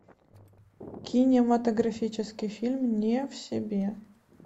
кинематографический фильм не в себе